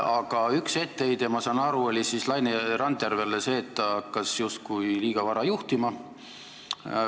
Aga üks etteheide, ma saan aru, oli Laine Randjärvele see, et ta hakkas justkui liiga vara juhtima.